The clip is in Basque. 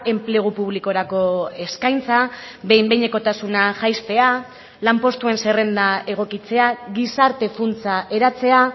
enplegu publikorako eskaintza behin behinekotasuna jaistea lanpostuen zerrenda egokitzea gizarte funtsa eratzea